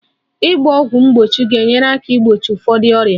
Ịgba ọgwụ mgbochi ga-enyere aka igbochi ụfọdụ ọrịa